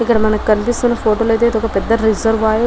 ఇక్కడ మనకి కనిపిస్తున్న ఫోటో అయితే ఇది ఒక పెద్ద రేసర్వేయర్